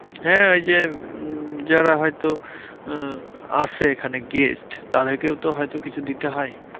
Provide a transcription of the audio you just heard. হ্যাঁ ওই যে উম যারা হয়তো আহ আসে এখানে guest তাদেরকেও তো হয়তো কিছু দিতে হয়।